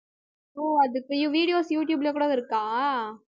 ஓ அதுக்கு videos யூடுயூப்ல கூட இருக்கா